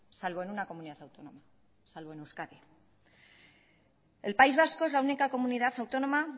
salvo en una comunidad autónoma salvo en euskadi el país vasco es la única comunidad autónoma